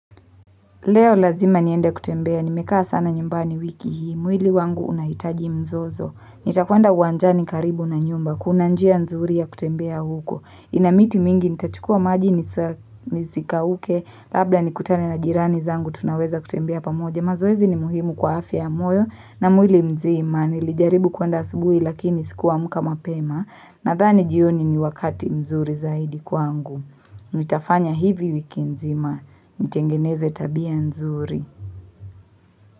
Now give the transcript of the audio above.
Leo lazima nienda kutembea, nimekaa sana nyumbani wiki hii, mwili wangu unahitaji mzozo. Nitakuwenda uwanjani karibu na nyumba, kuna njia nzuri ya kutembea huko. Inamiti mingi, nitachukua maji nisika uke, labla nikutane na jirani zangu, tunaweza kutembea pamoja. Mazoezi ni muhimu kwa afya ya moyo, na mwili mzima, nilijaribu kwenda asubui lakini sikua mka mapema, na thani jioni ni wakati mzuri zaidi kwa ngu. Nitafanya hivi wiki nzima, nitengeneze tabia nzuri.